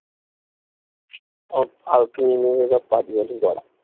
ও ফালতু ওগুলো সব বাজে কথা